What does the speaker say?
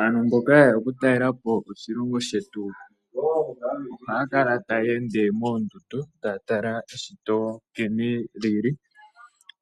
Aantu mboka yeya okutalelapo oshilongo shetu ohaya kala taya ende moondundu, taya tala nkene eshito li li.